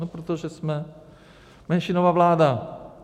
No protože jsme menšinová vláda.